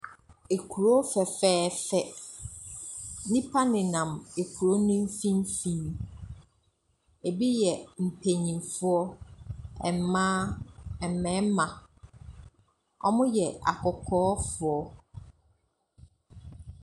Kuro fɛfɛɛfɛ, nnipa nenam kuro ne mfimfin, bi yɛ mpanimfoɔ, mmaa, mmarima. Wɔyɛ akɔkɔɔfoɔ.